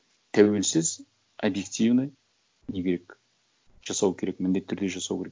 тәуелсіз объективный не керек жасау керек міндетті түрде жасау керек